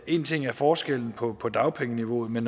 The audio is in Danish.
én ting er forskellen på på dagpengeniveauet men